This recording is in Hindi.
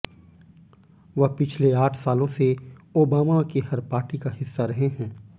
वह पिछले आठ सालों से ओबामा की हर पार्टी का हिस्सा रहे हैं